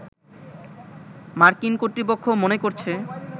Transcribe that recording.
মার্কিন কর্তৃপক্ষ মনে করছে